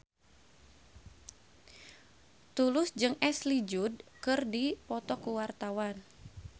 Tulus jeung Ashley Judd keur dipoto ku wartawan